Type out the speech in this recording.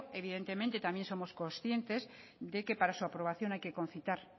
evidentemente también somos conscientes de que para su aprobación hay que concitar